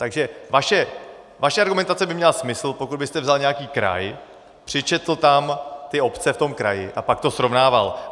Takže vaše argumentace by měla smysl, pokud byste vzal nějaký kraj, přičetl tam ty obce v tom kraji a pak to srovnával.